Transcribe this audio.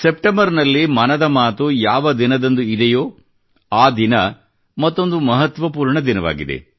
September ನಲ್ಲಿ ಮನದ ಮಾತು ಯಾವ ದಿನದಂದು ಇದೆಯೋ ಆದಿನ ಮತ್ತೊಂದು ಮಹತ್ವಪೂರ್ಣ ದಿನವಾಗಿದೆ